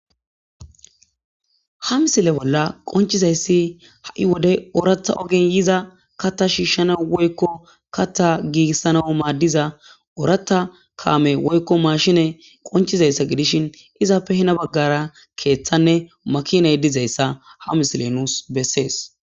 ha misile bolla qonchizayssi ha7i wode ooratha ogin yiza kata shiishshana woykko kata giigissana maaddiza ooratta kaame woykko maashine qonchizayssa gidishin izaappe hina baggara keeththanne makinay dizayssa ha misile nuus bessees